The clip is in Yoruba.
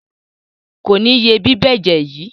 Kò ní ye bíbẹ́jẹ̀ yìí.